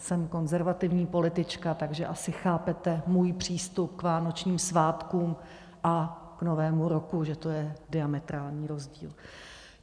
Jsem konzervativní politička, takže asi chápete můj přístup k vánočním svátkům a k Novému roku, že to je diametrální rozdíl.